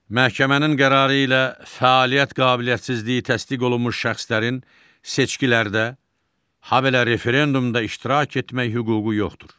Məhkəmənin qərarı ilə fəaliyyət qabiliyyətsizliyi təsdiq olunmuş şəxslərin seçkilərdə, habelə referendumda iştirak etmək hüququ yoxdur.